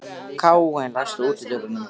Káinn, læstu útidyrunum.